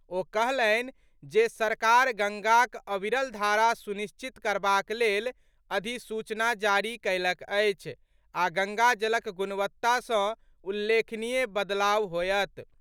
ओ कहलनि जे सरकार गंगाक अविरल धारा सुनिश्चित करबाक लेल अधिसूचना जारी कयलक अछि आ गंगाजलक गुणवत्ता सॅ उल्लेखनीय बदलाव होयत।